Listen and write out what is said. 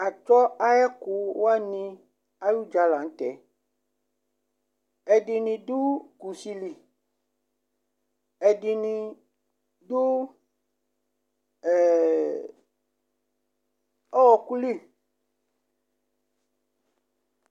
Atsɔ ayʋ ɛkʋ wani ayʋ ʋdza la ntɛ Ɛdiní kusi li, ɛdiní du ɔku li